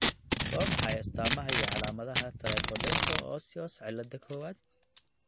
Waa maxay astamaha iyo calaamadaha Tricho dento osseous cillada kowad?